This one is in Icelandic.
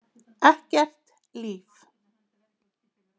Ekkert líf.